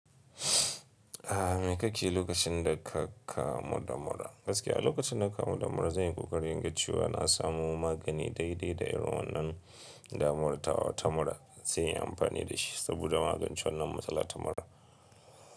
A mai ka ke yi lokacin da ka kamu da mura? Gaskiya lokacin da ka kamu da mura, zan yi ƙoƙarin inga cewa na samo magani daidai da irin wannan damuwar ta wa ta mura zan yi amfani da shi saboda magance wannan matsalar ta mura.